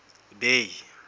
bay